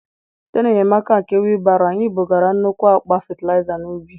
Site n’enyemaka nke wheelbarrow, anyị bugara nnukwu akpa fatịlaịza n’ubi.